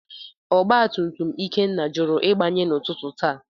Ọgba tum tum Ikenna jụrụ Ịgbanye n’ụtụtụ taa.